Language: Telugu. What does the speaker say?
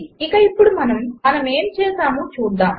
ఇక ఇప్పుడు మనం మనమేమి చేసామో చూద్దాము